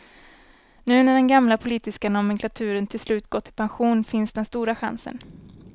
Nu när den gamla politiska nomenklaturen till slut gått i pension finns den stora chansen.